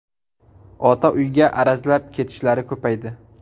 Ota uyga arazlab ketishlar ko‘paydi.